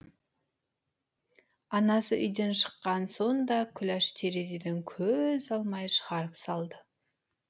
анасы үйден шыққан соң да күләш терезеден көз алмай шығарып салды